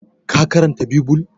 ka karanta bibul!